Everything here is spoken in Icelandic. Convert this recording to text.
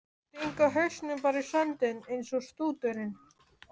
Stinga hausnum bara í sandinn eins og strúturinn!